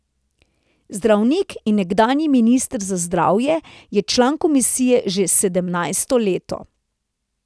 Zdravnik in nekdanji minister za zdravje je član komisije že sedemnajsto leto.